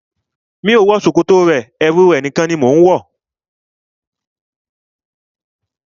Mi ò wọ ṣòkòtò rẹ, ẹwu rẹ̀ nìkan ni mo ń wọ.